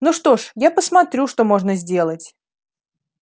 ну что ж я посмотрю что можно сделать